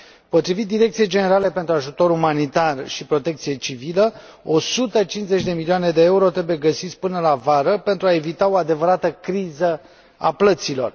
Potrivit Direcției Generale Ajutor Umanitar și Protecție Civilă, 150 de milioane de EUR trebuie găsiți până la vară pentru a evita o adevărată criză a plăților.